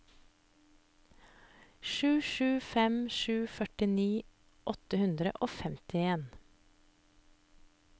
sju sju fem sju førtini åtte hundre og femtien